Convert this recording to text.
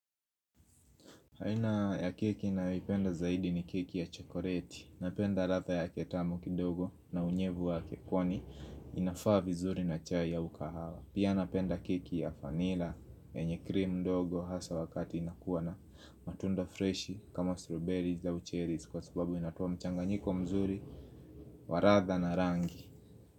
Haina ya keki ninayoipenda zaidi ni keki ya chokoleti Napenda radha yake tamu kidogo na unyevu ya kekoni inafaa vizuri na chai ya ukahawa Pia napenda keki ya vanilla yenye cream ndogo Hasa wakati inakuwa na matunda fresh kama strawberries or cherries Kwa sababu inatoa mchanganyiko mzuri wa radha na rangi.